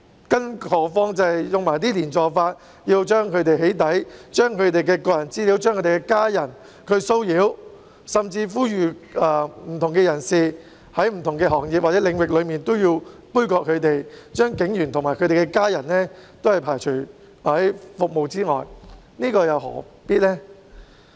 更何況有些人以"連坐法"，將他們的個人資料"起底"，令他們的家人受到騷擾，甚至呼籲不同行業或領域的人杯葛他們，拒絕為警員及其家人提供服務，這又何必呢。